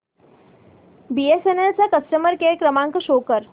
BSNL चा customer care क्रमांक show कर